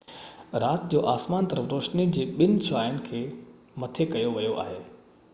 رات جو آسمان طرف روشني جي ٻن شعاعن کي مٿي ڪيو ويو آهي